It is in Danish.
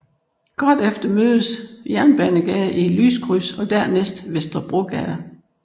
Kort efter mødes Jernbanegade i et lyskryds og dernæst Vesterbrogade